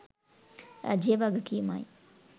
රජයේ වගකීමයි.